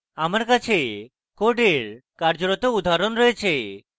আমার কাছে code কার্যরত উদাহরণ রয়েছে